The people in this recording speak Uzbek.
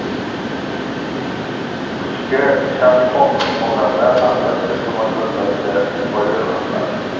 "kuchga chanqoq" odamlar albatta shu maqsadlarda foydalaniladi.